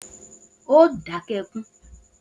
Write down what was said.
O óò dáké̩ e̩kún!